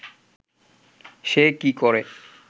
সে কি করে